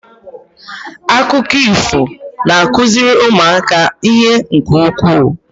Akụkọ ifo na-akụziri ụmụaka ihe nke ukwuu.